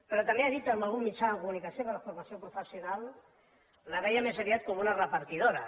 però també ha dit en algun mitjà de comunicació que la formació professional la veia més aviat con una repartidora